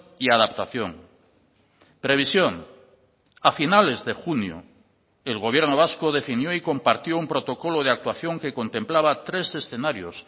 y adaptación previsión a finales de junio el gobierno vasco definió y compartió un protocolo de actuación que contemplaba tres escenarios